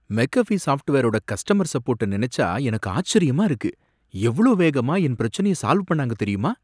make அஃபீ சாஃப்ட்வேரோட customer சப்போர்ட்ட நினைச்சா எனக்கு ஆச்சரியமா இருக்கு எவ்ளோ வேகமா என் பிரச்சனைய சால்வ் பண்ணாங்க தெரியுமா